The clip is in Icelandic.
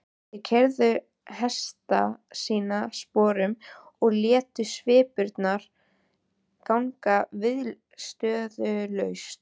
Þeir keyrðu hesta sína sporum og létu svipurnar ganga viðstöðulaust.